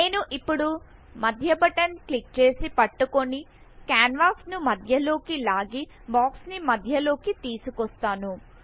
నేను ఇప్పుడు మధ్య బటన్ క్లిక్ చేసి పట్టుకొని కాన్వాస్ ను మధ్యలోకి లాగి బాక్స్ ని మధ్య లోకి తీసుకొస్తాను